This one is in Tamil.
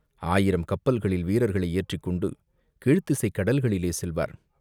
ஆயிரம் கப்பல்களில் வீரர்களை ஏற்றிக்கொண்டு கீழ்த்திசைக் கடல்களிலே செல்வார்.